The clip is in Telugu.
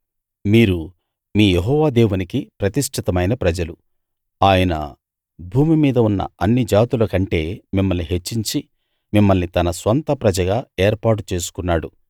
మీరు మీ యెహోవా దేవునికి ప్రతిష్ఠితమైన ప్రజలు ఆయన భూమి మీద ఉన్న అన్ని జాతుల కంటే మిమ్మల్ని హెచ్చించి మిమ్మల్ని తన స్వంత ప్రజగా ఏర్పాటు చేసుకున్నాడు